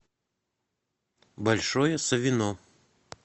большое савино